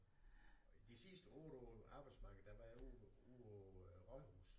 I de sidste 8 år arbejdsmarkedet der var jeg ude ude på rådhuset